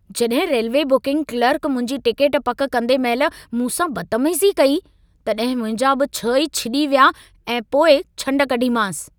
जॾहिं railway booking clerk मुंहिंजी ticket पक कंदे महिल मूं सां बदतमीज़ी कई, तॾहिं मुंहिंजा बि छह ई छिॼी विया ऐं पोइ छंड कढीमांसि।